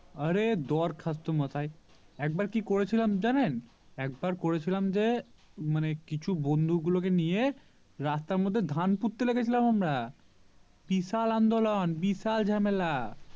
আরে দরখাস্ত মশাই একবার কি করেছিলাম জানেন একবার করেছিলাম যে মানে কিছু বন্ধু গুলো কে নিয়ে রাস্তার মধ্যে ধান পুঁততে লেগেছিলাম আমরা বিশাল আন্দোলন বিশাল ঝামেলা